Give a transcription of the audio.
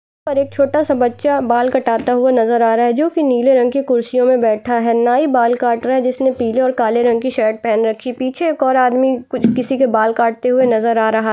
छोटा सा बच्चा बाल कटाता हुआ नजर आ रहा है जो की नीले कुर्सियों में बैठा है नाई बाल काट रहा है जिसने पीले और काले रंग की शर्ट पहन रखी है पीछे एक और आदमी कु किसी के बाल काटते हुए नज़र आ रहा है।